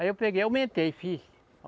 Aí eu peguei e aumentei, fiz.